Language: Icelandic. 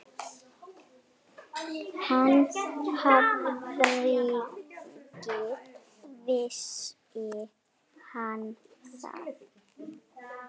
Ha, hvernig vissi hann það?